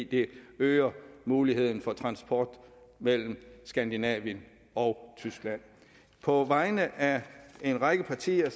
det øger muligheden for transport mellem skandinavien og tyskland på vegne af en række partier